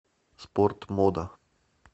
спортмода